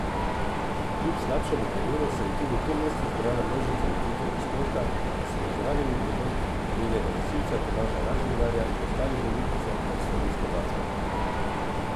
Kljub slabšemu vremenu se je tudi v tem mestu zbrala množica ljubiteljev športa, ki so pozdravili prihod njenega nosilca Tomaža Razingarja in ostalih olimpijcev ter slovenske bakle.